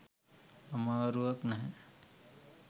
අමාරුවක් නැහැ.